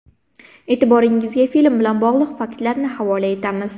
E’tiboringizga film bilan bog‘liq faktlarni havola etamiz.